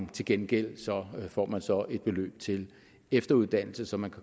til gengæld får man så et beløb til efteruddannelse så man